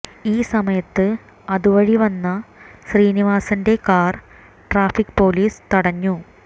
ഈ സമയത്ത് അതുവഴി വന്ന ശ്രീനിവാസന്റെ കാർ ട്രാഫിക് പൊലീസ് തടഞ്ഞു